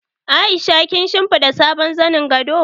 Aisha kin shimfiɗa sabon zanin gado?